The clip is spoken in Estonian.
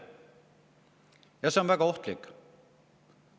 Ja see on väga ohtlik.